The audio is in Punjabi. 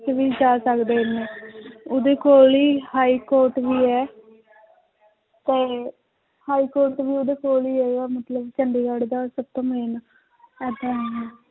'ਚ ਵੀ ਜਾ ਸਕਦੇ ਨੇ ਉਹਦੇ ਕੋਲ ਹੀ high court ਵੀ ਹੈ ਤੇ high court ਵੀ ਉਹਦੇ ਕੋਲ ਹੀ ਹੈਗਾ ਮਤਲਬ ਚੰਡੀਗੜ੍ਹ ਦਾ ਸਭ ਤੋਂ main ਏਦਾਂ ਹੈ